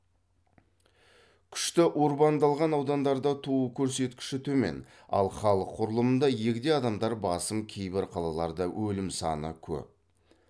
күшті урбандалған аудандарда туу көрсеткіші төмен ал халық құрылымында егде адамдар басым кейбір қалаларда өлім саны көп